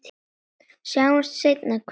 Sjáumst seinna, knús.